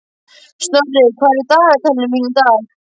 Snorri, hvað er í dagatalinu mínu í dag?